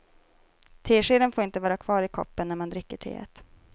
Teskeden får inte vara kvar i koppen när man dricker teet.